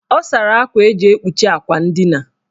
Ọ sara akwa eji ekpuchi akwa ndina.